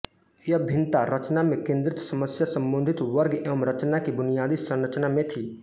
यह भिन्नता रचना में केन्द्रित समस्या संबोधित वर्ग एवं रचना की बुनियादी संरचना में थी